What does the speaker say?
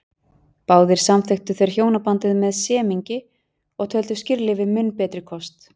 Báðir samþykktu þeir hjónabandið með semingi og töldu skírlífi mun betri kost.